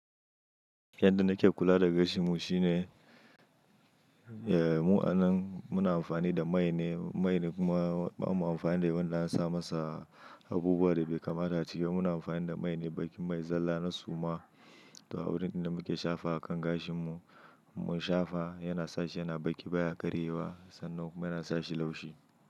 Yanda nake kula da gashin mu shine, eh mu'anan muna amfani da mai ne, mai kuma bamu amfani da wanda an sa masa, abubuwan da bai kamata a ciki. Muna amfani da mai ne, baƙin mai zalla na suma. To, a wurin inda muke shafawa akan gashin mu, in mun shafa yana sa shi yana baƙi baya karye wa, sannan kuma yana sa shi laushi.